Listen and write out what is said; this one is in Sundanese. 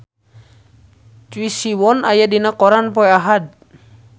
Choi Siwon aya dina koran poe Ahad